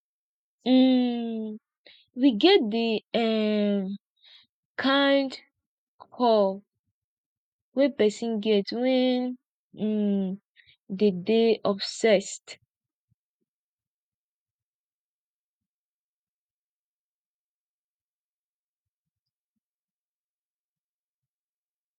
um we get di um kind kove wey person get when um dem dey obsessed